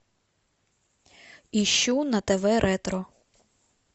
ищу на тв ретро